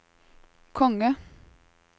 konge